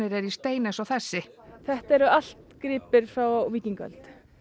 eru í stein eins og þessi þetta eru allt gripir frá víkingaöld